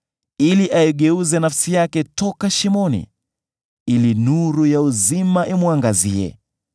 ili aigeuze nafsi yake toka shimoni, ili nuru ya uzima imwangazie.